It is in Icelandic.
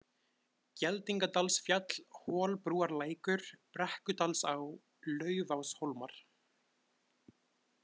Geldingadalsfjall, Holbrúarlækur, Brekkudalsá, Laufáshólmar